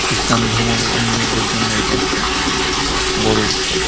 খ্রিস্টান ধর্মা লম্বীদের জন্য এটা একটা বড় উৎসব.